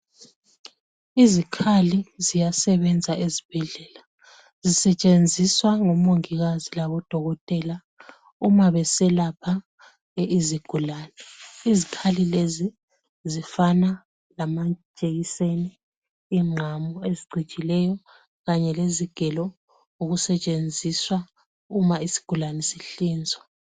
Izikhali ziyasebenza ezibhedlela sisetshenziswa ngomongikazi labodokotela uma beselapha izigulani izikhali lezi zifana lamajekiseni ingqamu ezicijileyo kanye lezigelo okusetshenziswa uma isigulane sihlinzwa.